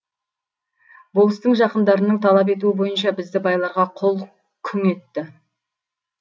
болыстың жақындарының талап етуі бойынша бізді байларға құл күң етті